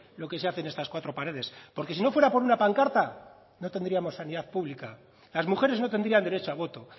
lo que se hace en estas cuatro paredes porque si no fuera por una pancarta no tendríamos sanidad pública las mujeres no tendrían derecho a voto